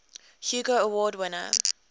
hugo award winner